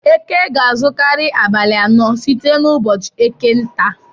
Eke ga-azukari abalị anọ site n'ụbọchị eke nta.